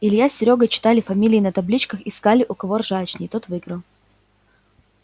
илья с серёгой читали фамилии на табличках искали у кого ржачней тот выиграл